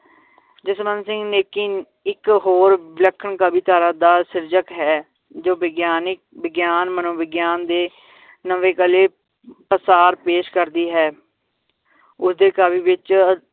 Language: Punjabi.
ਜਸਵੰਤ ਸਿੰਘ ਨੇਕੀ ਇੱਕ ਹੋਰ ਵਿਲੱਖਣ ਕਵੀ ਧਾਰਾ ਦਾ ਸਿਰਜਕ ਹੈ ਜੋ ਵਿਗਿਆਨਿਕ ਵਿਗਿਆਨ ਮਨੋਵਿਗਿਆਨ ਦੇ ਨਵੇਂ ਕਲੇ ਪ੍ਰਸਾਰ ਪੇਸ਼ ਕਰਦੀ ਹੈ ਉਸਦੇ ਕਾਵਿ ਵਿਚ